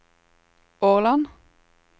Årland